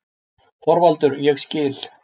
ÞORVALDUR: Ég skil.